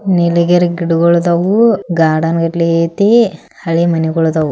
ನೀಲಗಿರಿ ಗಿಡಗಳು ಅದಾವು ಗಾರ್ಡನ್ ಗಟ್ಲೆ ಐತಿ ಹಳಿ ಮಣಿಗೋಲ್ ಇದಾವು.